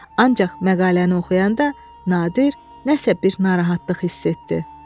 Ancaq məqaləni oxuyanda Nadir nəsə bir narahatlıq hiss etdi.